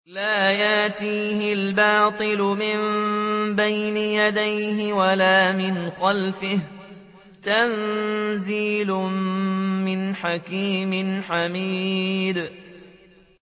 لَّا يَأْتِيهِ الْبَاطِلُ مِن بَيْنِ يَدَيْهِ وَلَا مِنْ خَلْفِهِ ۖ تَنزِيلٌ مِّنْ حَكِيمٍ حَمِيدٍ